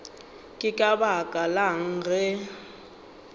ke ka baka lang ge